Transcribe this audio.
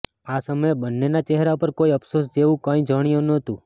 આ સમયે બંન્નેના ચહેરા પર કોઈ અફસોસ જેવું કંઈ જણાયું ન હતુ